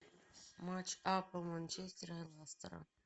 матч апл манчестера и лестера